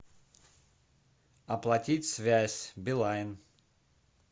оплатить связь билайн